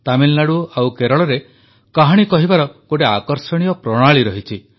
ତାମିଲନାଡ଼ୁ ଓ କେରଳରେ କାହାଣୀ କହିବାର ଗୋଟିଏ ଆକର୍ଷଣୀୟ ପ୍ରଣାଳୀ ରହିଛି